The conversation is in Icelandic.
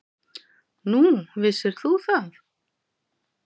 Nú, vissir þú það?